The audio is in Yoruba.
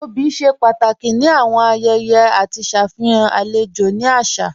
Obì ṣe pàtàkì ni awọn ayẹyẹ àti ṣafihàn alẹjò ni àṣà.